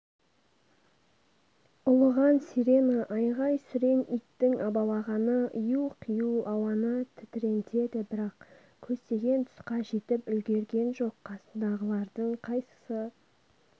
ұлыған сирена айғай-сүрең иттің абалағаны ию-қию ауаны тітірентеді бірақ көздеген тұсқа жетіп үлгерген жоқ қасындағылардың қайсысы